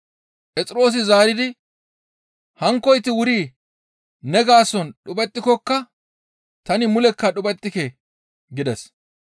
Phexroosi zaaridi, «Hankkoyti wuri ne gaason dhuphettikokka tani mulekka dhuphettike!» gides.